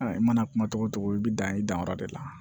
I mana kuma cogo o cogo i bɛ dan i danyɔrɔ de la